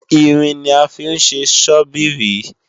Irin ni a fí ń ṣe Sọ́bíìrì